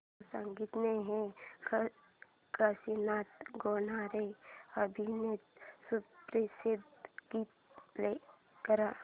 गोमू संगतीने हे काशीनाथ घाणेकर अभिनीत सुप्रसिद्ध गीत प्ले कर